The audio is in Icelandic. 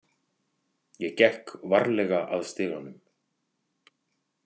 Ég gekk varlega að stiganum.